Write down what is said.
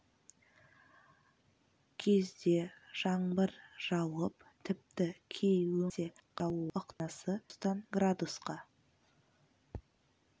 кезде жаңбыр жауып тіпті кей өңірлерде қатты жаңбыр жаууы ықтимал ауаның сынап бағанасы градустан градусқа